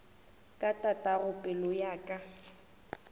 ka tatago pelo ya ka